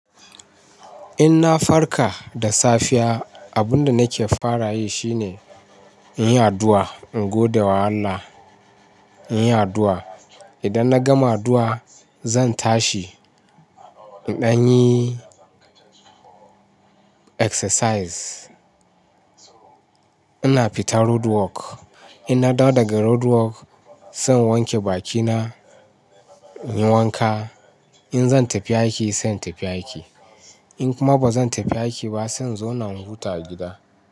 In na farka da safiya, abun da nake fara yi shine in yi addu'a, in gode wa Allah, in yi addu'a. Idan na gama addu'a, zan tashi, in dan yi exercise. Ina fita roadwork. In na dawo daga roadwork, zan wanke bakina, in yi wanka. In zan tafi aiki, zan tafi aiki. In kuma ba zan tafi aiki ba, zan zauna in huta a gida.